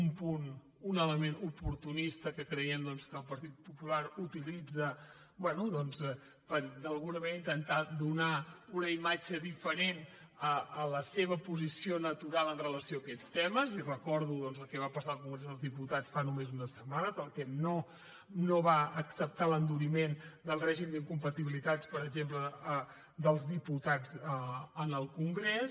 un punt un element oportunista que creiem doncs que el partit popular utilitza bé per d’alguna manera intentar donar una imatge diferent de la seva posició natural amb relació a aquests temes i recordo doncs el que va passar al congrés dels diputats fa només unes setmanes que no va acceptar l’enduriment del règim d’incompatibilitats per exemple dels diputats en el congrés